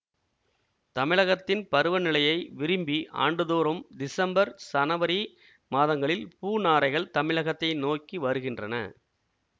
தமிழகத்தின் பருவநிலையை விரும்பி ஆண்டுதோறும் திசம்பர் சனவரி மாதங்களில் பூநாரைகள் தமிழகத்தை நோக்கி வருகின்றன